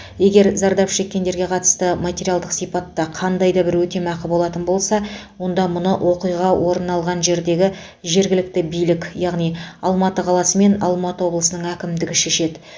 егер зардап шеккендерге қатысты материалдық сипатта қандай да бір өтемақы болатын болса онда мұны оқиға орын алған жердегі жергілікті билік яғни алматы қаласы мен алматы облысының әкімдігі шешеді